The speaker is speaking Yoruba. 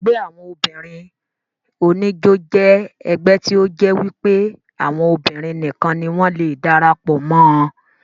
Ẹgbẹ́ àwọn obìnrin oníjó jẹ́ ẹgbẹ́ tí ó jẹ́ wípé àwọn obìnrin nìkan ni wọ́n le darapọ̀ mọ́ ọn